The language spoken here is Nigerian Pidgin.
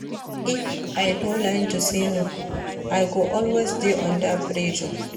If I no learn to say no, I go always dey under pressure.